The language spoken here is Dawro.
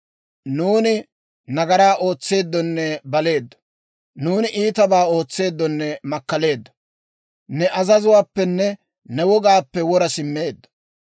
nuuni nagaraa ootseeddonne baleeddo; nuuni iitabaa ootseeddonne makkaleeddo; ne azazuwaappenne ne wogaappe wora simmeeddo.